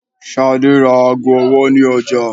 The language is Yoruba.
Shade ra aago ọwọ ni ọja